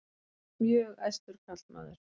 Mjög æstur karlmaður.